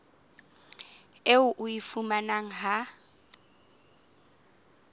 eo o e fumanang ha